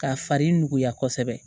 K'a fari nuguya kosɛbɛ